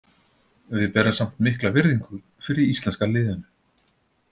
Við berum samt mikla virðingu fyrir íslenska liðinu.